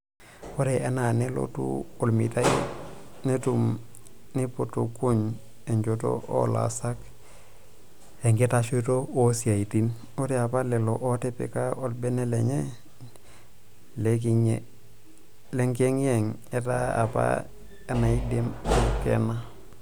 Oree enaa nelotu olmetai netum neiputukuny enjoto oolaasak enkitashoto oosiatin, oree apa lelo ootipika olbene lenye lenkiyengiyeng etaa apa enaidim aikena.